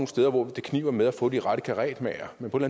steder hvor det kniber med at få de rette karetmagere men på et